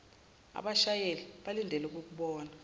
abashayeli balindele ukukubona